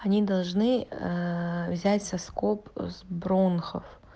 они должны взять соскоб с бронхов